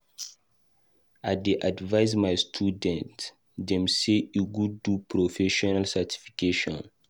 I dey advice my student dem sey e good do professional certification.